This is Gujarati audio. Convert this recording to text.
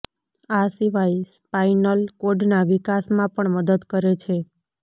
આ સિવાય સ્પાઈનલ કોડના વિકાસમાં પણ મદદ કરે છે